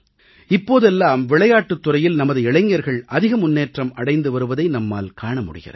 இப்போதெல்லாம் விளையாட்டுத் துறையில் நமது இளைஞர்கள் அதிக முன்னேற்றம் அடைந்து வருவதை நம்மால் காண முடிகிறது